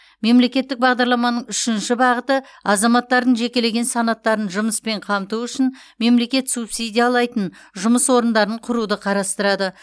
мемлекеттік бағдарламаның үшінші бағыты азаматтардың жекелеген санаттарын жұмыспен қамту үшін мемлекет субсидиялайтын жұмыс орындарын құруды қарастырады